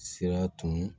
Sira tun